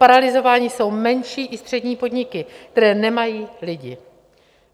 Paralyzovány jsou menší i střední podniky, které nemají lidi.